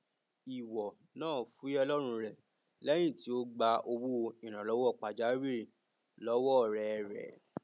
ìwọ náà fuyẹ lọrun re lẹyìn tí o gbà owó ìrànlọwọ pajawìrì lọwọ ọrẹ rẹ